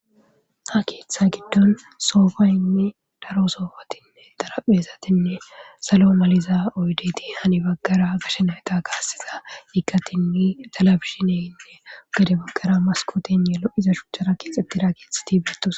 Ha keeththa gidon soofaynne daro soofati xarphphezatinne salo maliza oyddeti heni bagara gashe nayta kaasiza iqqatinne televizhinne gede bagara maskotenne lo7iza shuchchara keeexetida keethati eetoosona .